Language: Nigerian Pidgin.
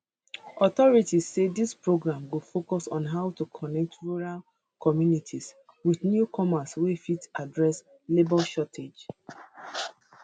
authorities say dis program go focus on how to connect rural communities wit newcomers wey fit address labor shortages